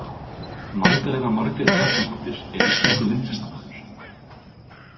Magdalena Margrét Kjartansdóttir er íslenskur myndlistarmaður.